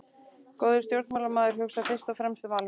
Góður stjórnmálamaður hugsar fyrst og fremst um almannaheill.